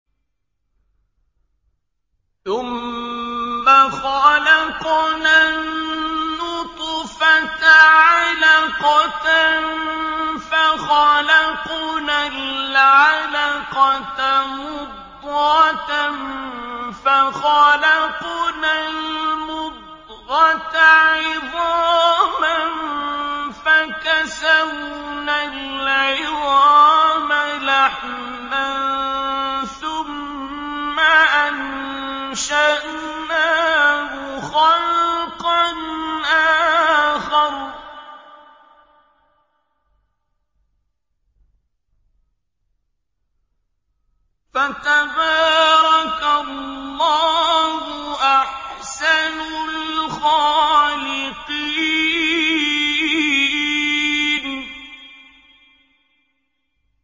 ثُمَّ خَلَقْنَا النُّطْفَةَ عَلَقَةً فَخَلَقْنَا الْعَلَقَةَ مُضْغَةً فَخَلَقْنَا الْمُضْغَةَ عِظَامًا فَكَسَوْنَا الْعِظَامَ لَحْمًا ثُمَّ أَنشَأْنَاهُ خَلْقًا آخَرَ ۚ فَتَبَارَكَ اللَّهُ أَحْسَنُ الْخَالِقِينَ